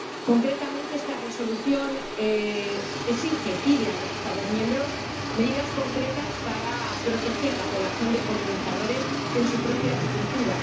Concretamente esta Resolución pide a los Estados miembros medidas concretas para proteger la población de polinizadores en su propia agricultura.